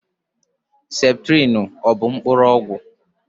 Septrịnụ ọ bụ mkpụrụ ọgwụ mkpụrụ?